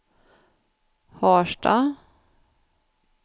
Harstad